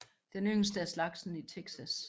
Den yngste af slagsen i Texas